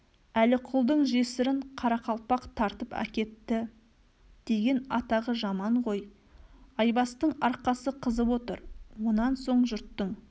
әліқұлдың жесірін қарақалпақ тартып әкетті деген атағы жаман ғой айбастың арқасы қызып отыр онан соң жұрттың